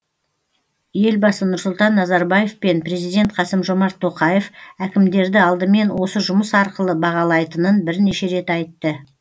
елбасы нұрсұлтан назарбаев пен президент қасым жомарт тоқаев әкімдерді алдымен осы жұмыс арқылы бағалайтынын бірнеше рет айтты